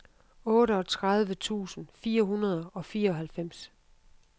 otteogtredive tusind fire hundrede og fireoghalvfems